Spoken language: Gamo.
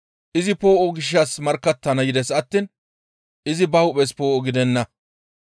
Izi poo7o gishshas markkattana yides attiin izi ba hu7es poo7o gidenna.